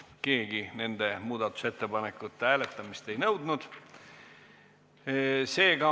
Keegi nende ettepanekute hääletamist ei nõudnud.